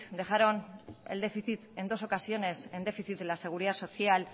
dejaron el déficit en dos ocasiones en déficit de la seguridad social